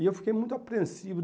E eu fiquei muito apreensivo.